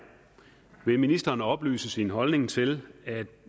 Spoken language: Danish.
vil ministeren oplyse sin holdning til